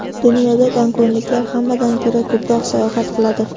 Dunyoda gonkongliklar hammadan ko‘ra ko‘proq sayohat qiladi.